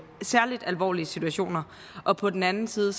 særlig alvorlige situationer og på den anden side